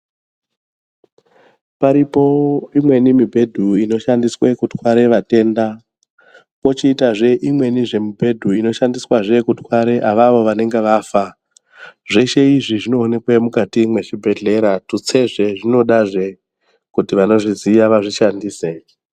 Varipo imweni mubhedhu inobatsirwa kurwara matenda nematenda kochizoita imweni mibhedha inoshandiswa avo vanenge vafa zveshe izvi Zvinoonekwa mukati mezvibhedhlera tutsezve zvinodazve kuti vanozviziva vazvishandise.